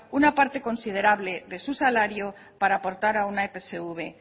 una parte considerable de su salario para aportar a una epsv